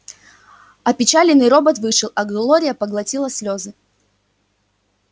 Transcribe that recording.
опечаленный робот вышел а глория проглотила слезы